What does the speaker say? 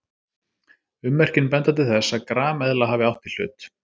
Ummerkin benda til þess að grameðla hafi átt í hlut.